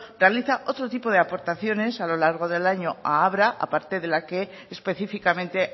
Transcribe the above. realiza otro tipo de aportaciones a lo largo del año a abra a parte de la que específicamente